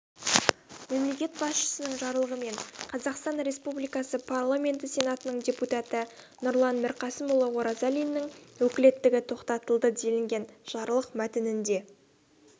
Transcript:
мемлекет басшысының жарлығымен қазақстан республикасы парламенті сенатының депутаты нұрлан мірқасымұлы оразалиннің өкілеттігі тоқтатылды делінген жарлық мәтінінде